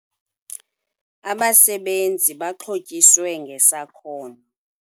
Abasebenzi baxhotyiswe ngesakhono